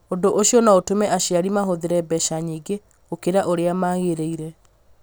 Ũndũ ũcio no ũtũme aciari mahũthĩre mbeca nyingĩ gũkĩra ũrĩa magĩrĩire.